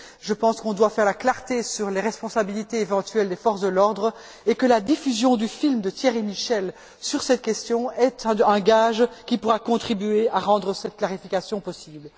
Je pense qu'on doit faire la clarté sur les responsabilités éventuelles des forces de l'ordre et que la diffusion du film de Thierry Michel sur cette question est un gage qui pourra contribuer à rendre cette clarification possible.